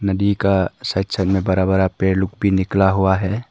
नदी का side side में बड़ा बड़ा पेड़ लोग कुछ निकला हुआ है।